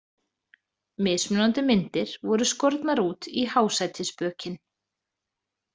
Mismunandi myndir voru skornar út í há sætisbökin.